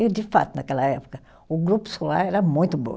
E, de fato, naquela época, o grupo escolar era muito bom.